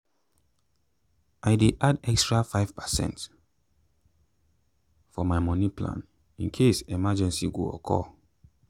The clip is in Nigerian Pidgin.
i dey add extra five percent for my moni plan in case emergency go occur